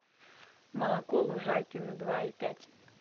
молоко лужайкино два и пять